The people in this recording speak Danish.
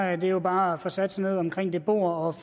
er det jo bare at få sat sig ned omkring det bord og